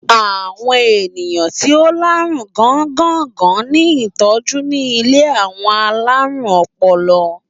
Àwọn ènìyàn ti o lárùn gángàngán ní tọ́jú ní ilé àwọn alárùn ọpọlọ.